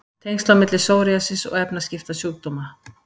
Tengsl á milli psoriasis og efnaskiptasjúkdóma